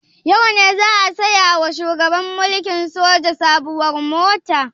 Yau ne za a saya wa shugaban mulkin soja sabuwar mota?